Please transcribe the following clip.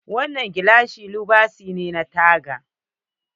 Wannan gilashi lubasi ne na taga.